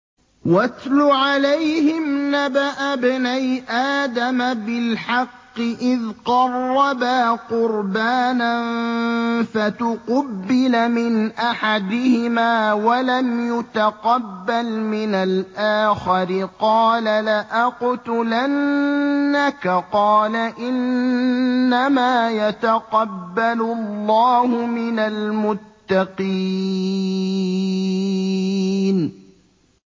۞ وَاتْلُ عَلَيْهِمْ نَبَأَ ابْنَيْ آدَمَ بِالْحَقِّ إِذْ قَرَّبَا قُرْبَانًا فَتُقُبِّلَ مِنْ أَحَدِهِمَا وَلَمْ يُتَقَبَّلْ مِنَ الْآخَرِ قَالَ لَأَقْتُلَنَّكَ ۖ قَالَ إِنَّمَا يَتَقَبَّلُ اللَّهُ مِنَ الْمُتَّقِينَ